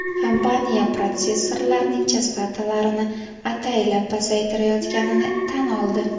Kompaniya protsessorlarning chastotalarini ataylab pasaytirayotganini tan oldi.